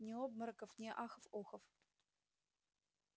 ни обмороков ни ахов-охов